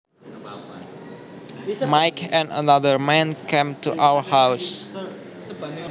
Mike and another man came to our house